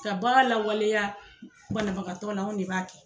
Ka baga lawaleya banabagatɔ la anw de b'a kɛ.